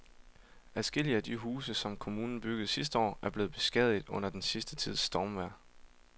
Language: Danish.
Adskillige af de huse, som kommunen byggede sidste år, er blevet beskadiget under den sidste tids stormvejr.